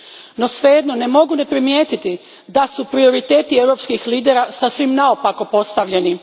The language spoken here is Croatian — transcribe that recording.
No, svejedno ne mogu ne primijetiti da su prioriteti europskih lidera sasvim naopako postavljeni.